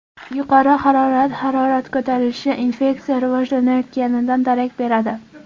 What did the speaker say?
Yuqori harorat Harorat ko‘tarilishi infeksiya rivojlanayotganidan darak beradi.